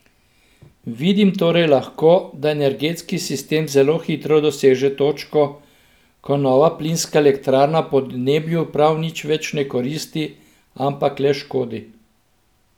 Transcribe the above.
Vidimo torej lahko, da energetski sistem zelo hitro doseže točko, ko nova plinska elektrarna podnebju prav nič več ne koristi, ampak le škodi.